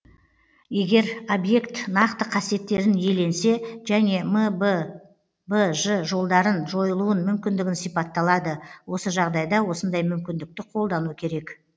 егер объект нақты қасиеттерін иеленсе және мббж жолдарын жойылуын мүмкіндігін сипатталады осы жағдайда осындай мүмкіндікті қолдану керек